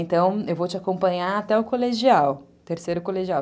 Então, eu vou te acompanhar até o colegial, terceiro colegial.